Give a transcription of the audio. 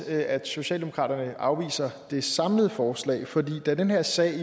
at socialdemokratiet afviser det samlede forslag for da den her sag